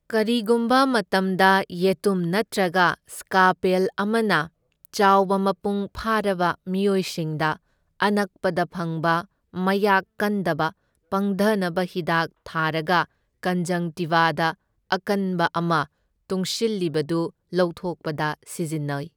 ꯀꯔꯤꯒꯨꯝꯕ ꯃꯇꯝꯗ ꯌꯦꯇꯨꯝ ꯅꯠꯇ꯭ꯔꯒ ꯁ꯭ꯀꯥꯄꯦꯜ ꯑꯃꯅ ꯆꯥꯎꯕ ꯃꯄꯨꯡ ꯐꯥꯔꯕ ꯃꯤꯑꯣꯢꯁꯤꯡꯗ ꯑꯅꯛꯄꯗ ꯐꯪꯕ ꯃꯌꯥꯛ ꯀꯟꯗꯕ ꯄꯪꯙꯅꯕ ꯍꯤꯗꯥꯛ ꯊꯥꯔꯒ ꯀꯟꯖꯪꯛꯇꯤꯚꯥꯗ ꯑꯀꯟꯕ ꯑꯃ ꯇꯨꯡꯁꯤꯜꯂꯤꯕꯗꯨ ꯂꯧꯊꯣꯛꯄꯗ ꯁꯤꯖꯤꯟꯅꯩ꯫